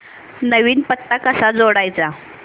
नवीन पत्ता कसा जोडायचा